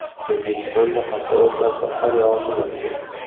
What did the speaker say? O‘zbekistonda hafta o‘rtasida qor yog‘ishi mumkin.